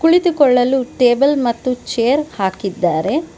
ಕುಳಿತುಕೊಳ್ಳಲು ಟೇಬಲ್ ಮತ್ತು ಚೇರ್ ಹಾಕಿದ್ದಾರೆ.